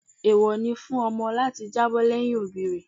Eewọ ni fún ọmọ láti jábọ́ lẹ́yìn òbí rẹ̀.